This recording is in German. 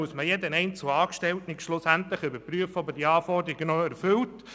Dazu müsste bei jedem einzelnen Angestellten überprüft werden, ob er die Anforderungen erfüllt.